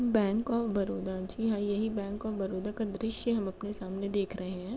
Bank of Baroda जी हाँ यही बैंक ऑफ बरोदा का दृशय हम अपने सामने देख रहे हैं।